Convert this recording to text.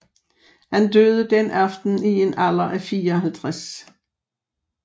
Han døde den aften i en alder af 54